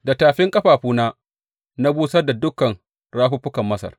Da tafin ƙafafuna na busar da dukan rafuffukan Masar.